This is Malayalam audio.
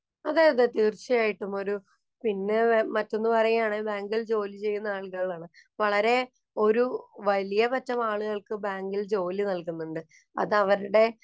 അതേയതെ, തീര്‍ച്ചയായിട്ടും. ഒരു പിന്നെ മറ്റൊന്ന് പറയുകയാണെങ്കില്‍ ബാങ്കില്‍ ജോലി ചെയ്യുന്ന ആളുകള്‍ ആണ്. വളരെ ഒരു വലിയപറ്റം ആളുകള്‍ക്ക് ബാങ്കില്‍ ജോലി നല്‍കുന്നുണ്ട്. അതവരുടെ